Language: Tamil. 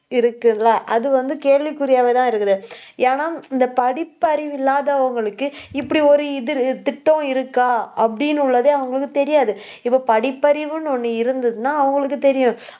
இருக்குல்ல அது வந்து, கேள்விக்குறியாவேதான் இருக்குது ஏன்னா இந்த படிப்பறிவு இல்லாதவங்களுக்கு இப்படி ஒரு இது, திட்டம் இருக்கா அப்படின்னு உள்ளதே அவங்களுக்கு தெரியாது. இப்போ படிப்பறிவுன்னு ஒண்ணு இருந்ததுன்னா அவங்களுக்கு தெரியும்